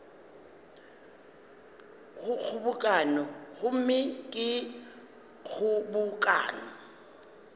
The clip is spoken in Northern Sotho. go kgobokano gomme ge kgobokano